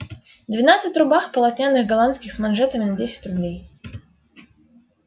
двенадцать рубах полотняных голландских с манжетами на десять рублей